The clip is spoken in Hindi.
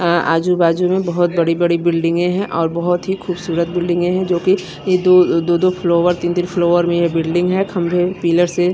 अ आजू-बाजू में बहोत बड़ी-बड़ी बिल्डिंगे हैं और बहोत ही खूबसूरत बिल्डिंगे हैं जो कि ये दो दो-दो फ्लोवर तीन-तीन फ्लोवर में ये बिल्डिंग है खंभे पिलर से --